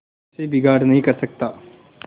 उससे बिगाड़ नहीं कर सकता